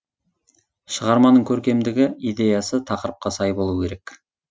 шығарманың көркемдігі идеясы тақырыпқа сай болуы керек